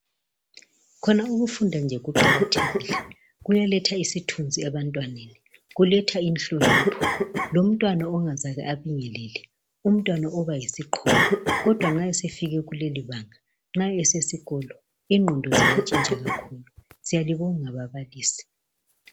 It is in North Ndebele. Khona ukufunda nje kuqakathekile kuyaletha isithunzi ebantwaneni, kuletha inhlonipho. Lomntwana ongazake abingelele umntwana oba yisiqholo kodwa nxa esefike kuleli banga nxa esikolo ingqondo ziyantshintsha kakhulu. Siyalibonga bablisi.